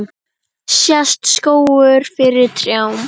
Sést skógur fyrir trjám?